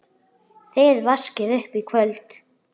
Þið vaskið upp í kvöld